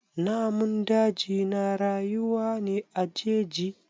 Namun daji na rayuwa ne a jeji.